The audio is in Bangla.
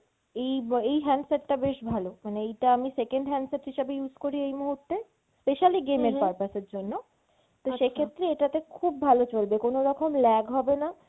এই ব এই handset টা বেশ ভালো মানে এইটা আমি second handset হিসাবে use করি এই মুহুর্তে specially game এর purpose এর জন্য। তো সেক্ষেত্রে এটাতে খুব ভালো চলবে কোনোরকম lag হবে না